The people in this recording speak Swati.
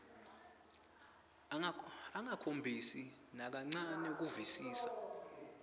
angakhombisi nakancane kuvisisa